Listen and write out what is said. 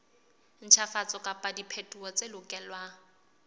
ntjhafatso kapa diphetoho tse lokelwang